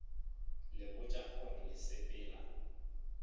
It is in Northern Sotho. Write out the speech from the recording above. le botša gore le sepela